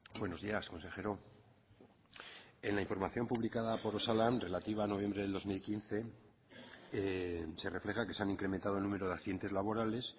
buenos días consejero en la información publicada por osalan relativa a noviembre del dos mil quince se refleja que se han incrementado el número de accidentes laborales